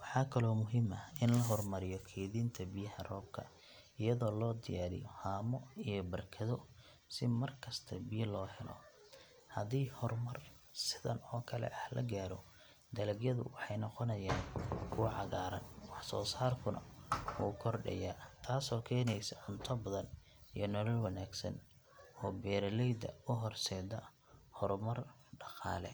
Waxaa kaloo muhiim ah in la horumariyo kaydinta biyaha roobka iyadoo loo diyaariyo haamo iyo barkado si markasta biyo loo helo. Haddii horumar sidan oo kale ah la gaaro, dalagyadu waxay noqonayaan kuwo cagaaran, wax soo saarkuna wuu kordhaya, taasoo keenaysa cunto badan iyo nolol wanaagsan oo beeraleyda u horseeda horumar dhaqaale.